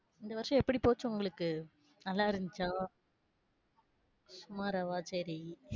இந்த வருஷம் எப்படி போச்சு உங்களுக்கு, நல்லா இருந்துச்சா? சுமாராவா சரி.